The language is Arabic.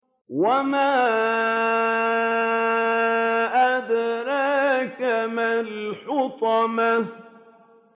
وَمَا أَدْرَاكَ مَا الْحُطَمَةُ